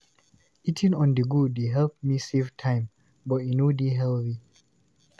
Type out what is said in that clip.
Eating on-the-go dey help me save time, but e no dey healthy.